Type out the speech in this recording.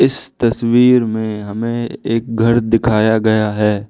इस तस्वीर में हमें एक घर दिखाया गया है।